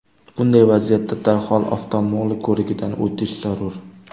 Bunday vaziyatda darhol oftalmolog ko‘rigidan o‘tish zarur.